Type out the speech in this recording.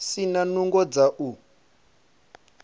si na nungo dza u